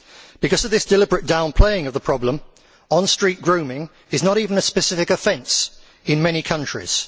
Because of this deliberate downplaying of the problem, on street grooming is not even a specific offence in many countries.